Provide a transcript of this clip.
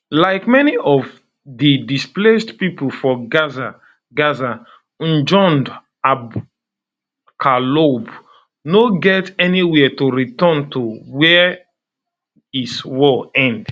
like many of di displaced pipo for gaza gaza njoud abu kaloub no get anywia to return to wen is war end